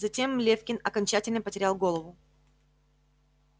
затем лефкин окончательно потерял голову